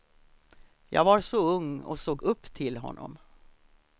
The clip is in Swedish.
Jag var så ung och såg upp till honom.